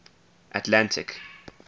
atlantic